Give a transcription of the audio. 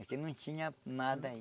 É que não tinha nada aí.